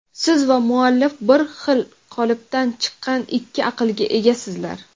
siz va muallif bir xil qolipdan chiqqan ikki aqlga egasizlar.